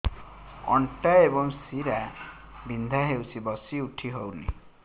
ଅଣ୍ଟା ଏବଂ ଶୀରା ବିନ୍ଧା ହେଉଛି ବସି ଉଠି ହଉନି